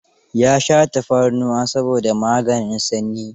Ya sha tafarnuwa saboda maganin sanyi.